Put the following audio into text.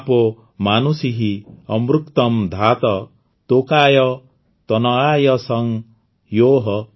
ମାପୋ ମାନୁଷୀଃ ଅମୃକ୍ତମ୍ ଧାତ ତୋକାୟ ତନୟାୟ ଶଂ ୟୋଃ